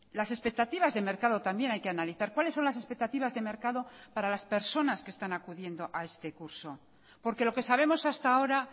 las expectativas de mercado también hay que analizar cuáles son las expectativas de mercado para las personas que están acudiendo a este curso porque lo que sabemos hasta ahora